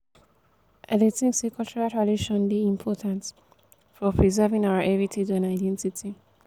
i dey think say cultural traditons dey important for preserving our heritage and identity.